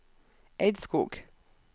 Eidskog